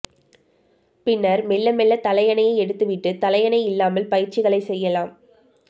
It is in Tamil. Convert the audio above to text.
பின்னர் மெல்ல மெல்லத் தலையணையை எடுத்துவிட்டுத் தலையணை இல்லாமல் பயிற்சிகளைச் செய்யலாம்